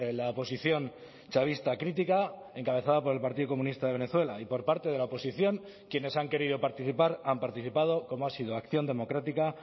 la oposición chavista crítica encabezada por el partido comunista de venezuela y por parte de la oposición quienes han querido participar han participado como ha sido acción democrática